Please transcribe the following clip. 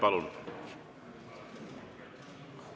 Palun!